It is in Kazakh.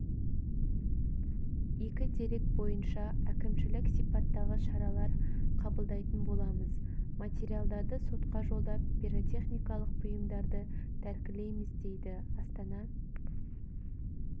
екі дерек бойынша әкімшілік сипаттағы шаралар қабылдайтын боламыз материалдарды сотқа жолдап пиротехникалық бұйымдарды тәркілейміз дейді астана